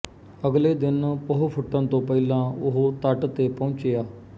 ਅਗਲੇ ਦਿਨ ਪਹੁ ਫੁੱਟਣ ਤੋਂ ਪਹਿਲਾਂ ਉਹ ਤੱਟ ਤੇ ਪਹੁੰਚਿਆ